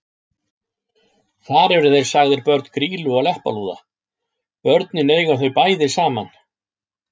Þar eru þeir sagðir börn Grýlu og Leppalúða: Börnin eiga þau bæði saman